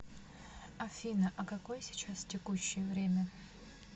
афина а какое сейчас текущее время